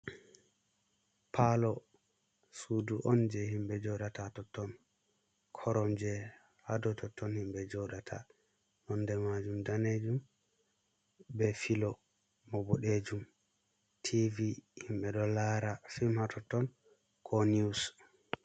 Palo, Sudu on je himɓe joɗata hatotton, korom je hadototton himɓe joɗata nonɗe majum danejum, be filo bo boɗejum tv himɓe ɗo lara fim hatotton ko niws.